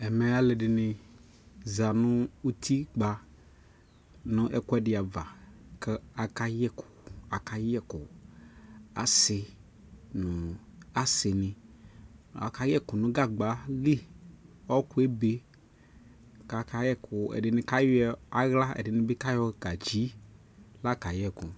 ɛmɛ alʋɛdini zanʋ ʋtikpa nʋ ɛkʋɛdi aɣa kʋaka yɛ ɛkʋ, asii nʋ asiini aka yɛkʋ nʋ gagba ali, ɔkʋɛ ɛbɛ kʋbaka yɛkʋ, ɛdini kayɔ ala ɛdini bi kayɔ gatsi laka yɛkʋ